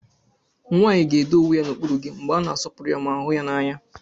Nwanyị ga-edo onwe ya n'okpuru gị mgbe a na-asọpụrụ ya ma hụ ya n'anya.